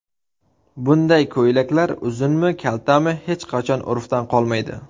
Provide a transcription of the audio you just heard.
Bunday ko‘ylaklar uzunmi, kaltami, hech qachon urfdan qolmaydi.